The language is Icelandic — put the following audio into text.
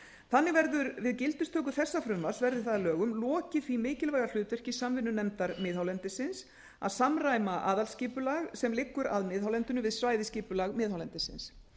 þannig verður við gildistökuna þessa frumvarps verði það að lögum lokið því mikilvæga hlutverki samvinnunefndar miðhálendisins að samræma aðalskipulag sem liggur að miðhálendinu við svæðisskipulag miðhálendisins